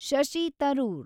Shashi Tharoor